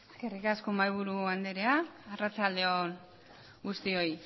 eskerrik asko mahaiburu andrea arratsalde on guztioi